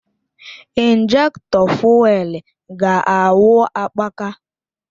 Injektọ fụ́élú ga-awụ akpaka